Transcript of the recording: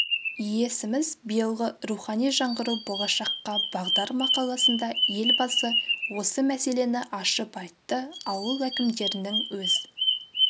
иесіміз биылғы рухани жаңғыру болашаққа бағдар мақаласында елбасы осы мәселені ашып айтты ауыл әкімдерінің өз